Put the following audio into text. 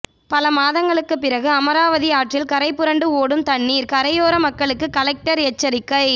பல மாதங்களுக்கு பிறகு அமராவதி ஆற்றில் கரை புரண்டு ஓடும் தண்ணீர் கரையோர மக்களுக்கு கலெக்டர் எச்சரிக்கை